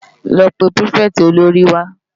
Lò pé pirifèti ólóri wá